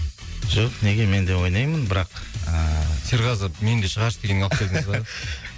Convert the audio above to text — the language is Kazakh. жоқ неге мен де ойнаймын бірақ ыыы серғазы мені де шығаршы дегенге алып келдіңіз ба